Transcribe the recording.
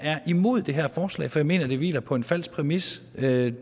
er imod det her forslag for jeg mener at det hviler på en falsk præmis det